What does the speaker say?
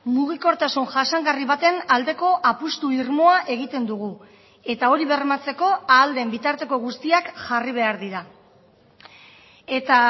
mugikortasun jasangarri baten aldeko apustu irmoa egiten dugu eta hori bermatzeko ahal den bitarteko guztiak jarri behar dira eta